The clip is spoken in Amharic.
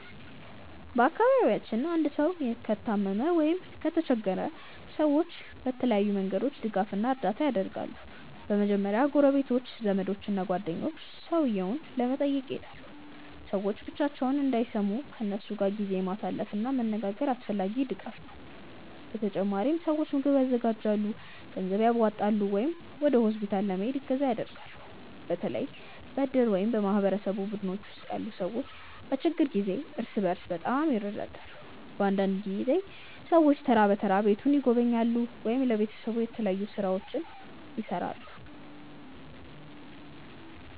በአካባቢያችን አንድ ሰው ከታመመ ወይም ከተቸገረ ሰዎች በተለያዩ መንገዶች ድጋፍ እና እርዳታ ያደርጋሉ። በመጀመሪያ ጎረቤቶች፣ ዘመዶች እና ጓደኞች ሰውየውን ለመጠየቅ ይሄዳሉ። ሰዎች ብቻቸውን እንዳይሰሙ ከእነሱ ጋር ጊዜ ማሳለፍ እና መነጋገር አስፈላጊ ድጋፍ ነው። በተጨማሪም ሰዎች ምግብ ያዘጋጃሉ፣ ገንዘብ ያዋጣሉ ወይም ወደ ሆስፒታል ለመሄድ እገዛ ያደርጋሉ። በተለይ በእድር ወይም በማህበረሰብ ቡድኖች ውስጥ ያሉ ሰዎች በችግር ጊዜ እርስ በርስ በጣም ይረዳዳሉ። አንዳንድ ጊዜ ሰዎች ተራ በተራ ቤቱን ይጎበኛሉ ወይም ለቤተሰቡ የተለያዩ ሥራዎችን ይሠራሉ።